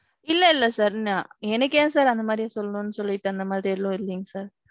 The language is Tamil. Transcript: இல்ல இல்ல sir. நான் எனக்கு ஏன் sir அந்த மாதிரி சொல்லணும்னு சொல்லிட்டு அந்த மாதிரி எதுவும் இல்லிங்க sir.